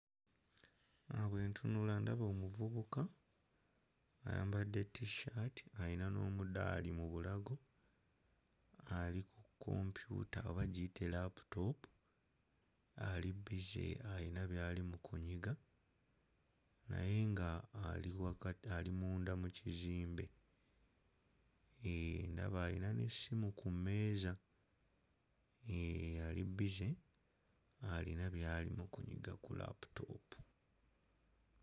Bwe ntunula ndaba omuvubuka ayambadde T-shirt ayina n'omudaali mu bulago ali ku kompyuta oba giyite laputoopu, ali bbize ayina by'ali mu kunyiga naye nga ali waka ali munda mu kizimbe, eh ndaba ayina n'essimu ku mmeeza eh ali bbize ayina by'ali mu kunyiga ku laputoopu.